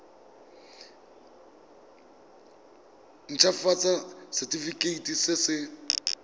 nt hafatsa setefikeiti se se